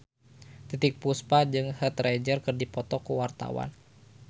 Titiek Puspa jeung Heath Ledger keur dipoto ku wartawan